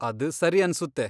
ಅದ್ ಸರಿ ಅನ್ಸುತ್ತೆ.